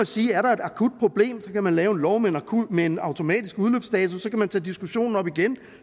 sige at er der et akut problem kan man lave en lov men med en automatisk udløbsdato kan man tage diskussionen op igen